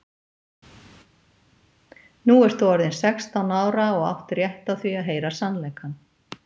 Nú ert þú orðin sextán ára og átt rétt á því að heyra sannleikann.